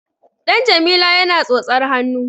Ɗan Jamila yana tsotsar hannu.